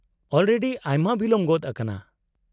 -Already ᱟᱭᱢᱟ ᱵᱤᱞᱚᱢ ᱜᱚᱫ ᱟᱠᱟᱱᱟ ᱾